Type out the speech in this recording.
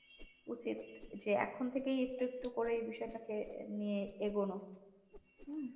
উচিত যে এখন থেকেই একটু একটু করে বিষয়টাকে নিয়ে এগোনো। হম।